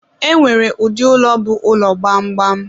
e nwere ụdị ụlọ bụ ụlọ gbamgbam.